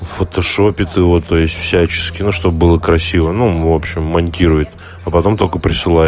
фотошопить его то есть всячески ну что бы было красиво ну в общем монтирует а потом только присылает